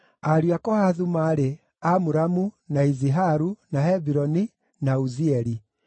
Ariũ a Kohathu maarĩ: Amuramu, na Iziharu, na Hebironi, na Uzieli.